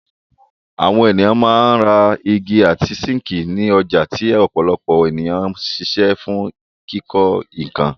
Àwọn ènìyàn máa ń ra igi àti síńkì ní ọjà tí ọ̀pọ̀lọpọ̀ ènìyàn ń ṣiṣẹ́ fún kíkọ́ nkan.